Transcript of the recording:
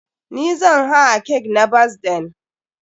NI zan haa cake na birthdayn.